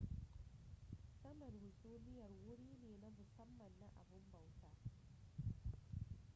saman hasumiyar wuri ne na musamman na abun bautan